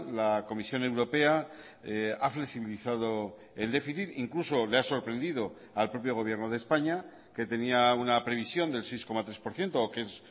la comisión europea ha flexibilizado el déficit incluso le ha sorprendido al propio gobierno de españa que tenía una previsión del seis coma tres por ciento o que es